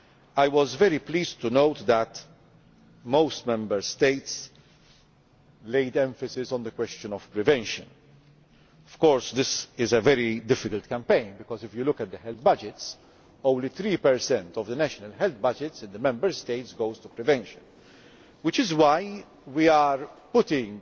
I was very pleased to note that most Member States laid emphasis on the question of prevention. Of course this is a very difficult campaign, because if you look at the health budgets, only 3 of the national health budgets in the Member States goes to prevention, which is why we are putting